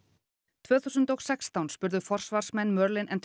tvö þúsund og sextán spurðu forsvarsmenn